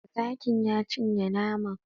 Zakin ya cinye naman